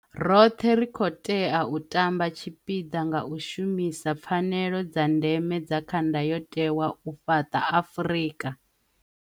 Roṱhe ri khou tea u tamba tshipiḓa nga u shumisa pfanelo dza ndeme dza kha Ndayotewa u fhaṱa Afrika